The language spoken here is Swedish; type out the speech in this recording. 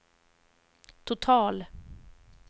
total